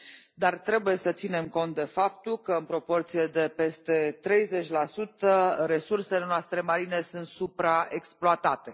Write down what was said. dar trebuie să ținem cont de faptul că în proporție de peste 30 resursele noastre marine sunt supraexploatate.